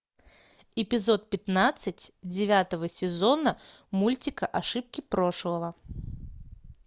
эпизод пятнадцать девятого сезона мультика ошибки прошлого